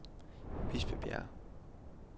Bispebjerg